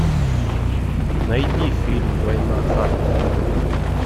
найди фильм война харта